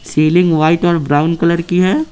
Ceiling white और brown colour की है।